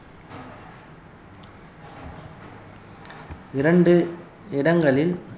இரண்டு இடங்களில்